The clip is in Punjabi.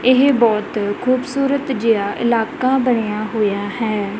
ਇਹ ਬਹੁਤ ਖੂਬਸੂਰਤ ਜਿਹਾ ਇਲਾਕਾ ਬਣਿਆ ਹੋਇਆ ਹੈ।